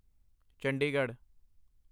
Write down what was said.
Chandigarh